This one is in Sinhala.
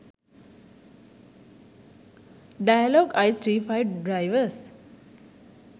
dialog i35 drivers